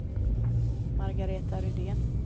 Margareta Rydén